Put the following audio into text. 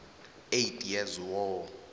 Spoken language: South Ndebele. eighty years war